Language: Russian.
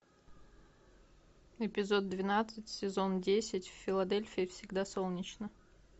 эпизод двенадцать сезон десять в филадельфии всегда солнечно